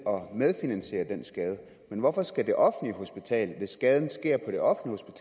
finansiere det men hvorfor skal det offentlige hospital hvis skaden sker på det offentlige